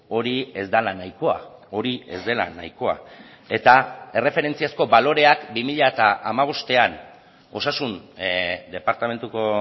hori ez dela nahikoa hori ez dela nahikoa eta erreferentziazko baloreak bi mila hamabostean osasun departamentuko